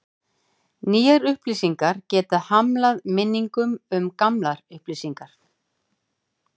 Nýjar upplýsingar geta hamlað minningum um gamlar upplýsingar.